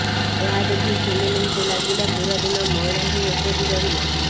ଏହା ଦେଖି ସୁନୀଲଙ୍କୁ ଲାଗିଲା ପୁରାଦିନ ମଇଳା ହିଁ ଏପରି ରହିବ